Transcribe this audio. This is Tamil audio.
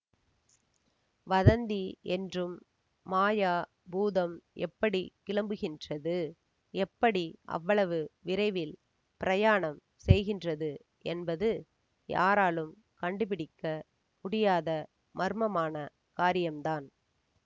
வதந்தி என்றும் மாயா பூதம் எப்படி கிளம்புகின்றது எப்படி அவ்வளவு விரைவில் பிரயாணம் செய்கின்றது என்பது யாராலும் கண்டுபிடிக்க முடியாத மர்மமான காரியம்தான்